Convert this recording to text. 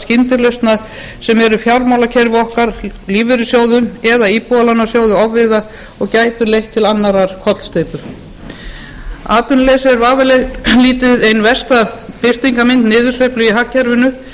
sem eru fjármálakerfi okkar lífeyrissjóðum eða íbúðalánasjóði ofviða og gætu leitt til annarrar kollsteypu atvinnuleysið er vafalítið ein versta birtingarmynd niðursveiflu í hagkerfinu